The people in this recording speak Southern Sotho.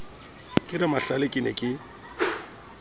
ke ramahlale ke ne ke